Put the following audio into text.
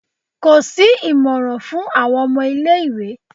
Ko si imọran fun awọn ọmọ ile-iwe